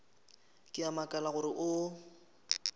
ke a makala gore o